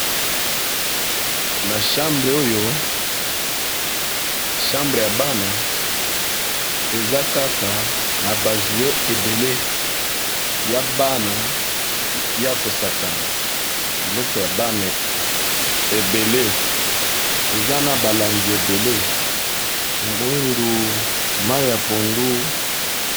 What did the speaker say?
Na chambre oyo chambre ya bana eza kaka na ba jouer ebele ya bana ya ko sakana, biloko ya bana ebele eza na ba langi ebele mwindu mayi ya pondu.